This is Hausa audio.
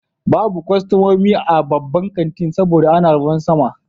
Babu kwastomomi a babban kanti saboda ana ruwan sama.